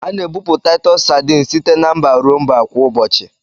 A na-ebupụ Taịtọs sadini site na mba ruo mba kwa ụbọchị